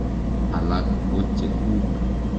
Alak ko che kuk.